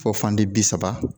Fo fan di bi saba